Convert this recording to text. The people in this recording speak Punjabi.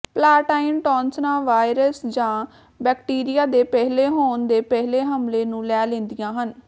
ਪਲਾਟਾਈਨ ਟੌਨਸਲਾਂ ਵਾਇਰਸ ਜਾਂ ਬੈਕਟੀਰੀਆ ਦੇ ਪਹਿਲੇ ਹੋਣ ਦੇ ਪਹਿਲੇ ਹਮਲੇ ਨੂੰ ਲੈ ਲੈਂਦੀਆਂ ਹਨ